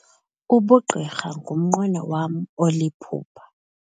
Ubugqirha ngumnqweno wam oliphupha.